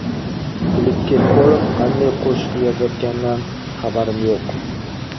Filipp Kirkorov qanday qo‘shiq yozayotganidan xabarim yo‘q.